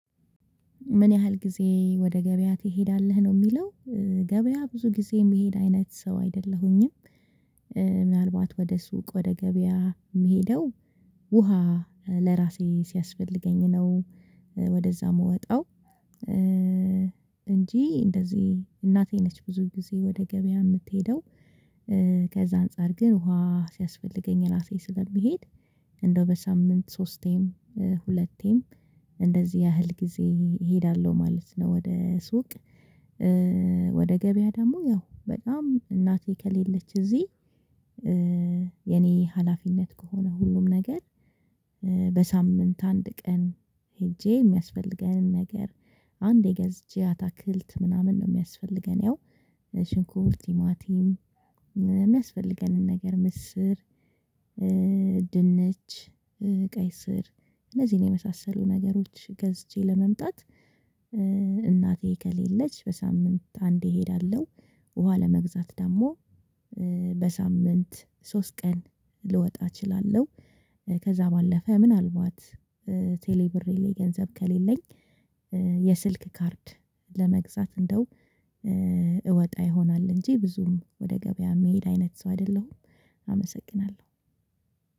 ምን ያህል ጊዜ ወደ ገበያ ትሄዳለህ ነው የሚለው? ገበያ ብዙ ጊዜ የሚሄድ አይነት ሰው አይደለሁኝም። ምናልባት ወደ ሱቅ ወደ ገበያ የምሄደው ውሃ ለራሴ ሲያስፈልገኝ ነው ወደዛ የምወጣው። እንጂ እንደዚህ እናቴ ነች ብዙ ጊዜ ወደ ገበያ የምትሄደው። ከዛ አንፃር ግን ውሃ ሲያስፈልገኝ ራሴ ስለሚሄድ እንደው በሳምንት ሶስቴም ሁለቴም እንደዚህ ያህል ጊዜ እሄዳለሁ ማለት ነው። ወደ ሱቅ ወደ ገበያ ደግሞ ያው በጣም እናቴ ከሌለች እዚህ የኔ ሀላፊነት ከሆነ ሁሉም ነገር። በሳምንት አንድ ቀን ሄጄ የሚያስፈልገንን ነገር አንዴ ገዝቼ አታክልት ምናምን ነው የሚያስፈልገን ያው ሽንኩርቲማቲም የሚያስፈልገንን ነገር ምስር ድንች ቀይ ስር እነዚህን የመሳሰሉ ነገሮች ገዝቼ ለመምጣት እናቴ ከሌለች በሳምንት አንዴ እሄዳለሁ። ውሃ ለመግዛት ደግሞ በሳምንት ሶስት ቀን ልወጣ እችላለሁ። ከዛ ባለፈ ምናልባት ቴሌ ብሬ ላይ ገንዘብ ከሌለኝ የስልክ ካርድ ለመግዛት እንደው እወጣ ይሆናል እንጂ ብዙም ወደ ገበያ የሚሄድ አይነት ሰው አይደለሁም። አመሰግናለሁ።